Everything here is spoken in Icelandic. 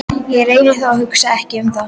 Ég reyni þó að hugsa ekki um það.